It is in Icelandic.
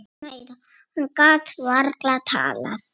Og hvað sagðirðu við kallinn?